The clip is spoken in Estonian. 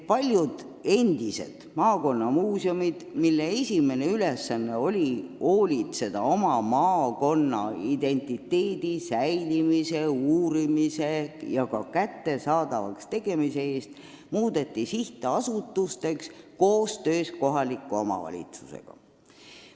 Paljud endised maakonnamuuseumid, mille põhiülesanne oli hoolitseda oma maakonna identiteedi hoidmise, materjalide uurimise ja kättesaadavaks tegemise eest, muudeti riigi ja kohalike omavalitsuste koostöös sihtasutusteks.